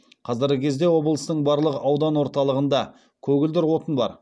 қазіргі кезде облыстың барлық аудан орталығында көгілдір отын бар